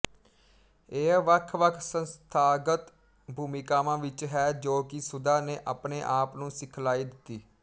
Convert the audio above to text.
ਇਹ ਵੱਖਵੱਖ ਸੰਸਥਾਗਤ ਭੂਮਿਕਾਵਾਂ ਵਿੱਚ ਹੈ ਜੋ ਕਿ ਸੁਧਾ ਨੇ ਆਪਣੇ ਆਪ ਨੂੰ ਸਿਖਲਾਈ ਦਿੱਤੀ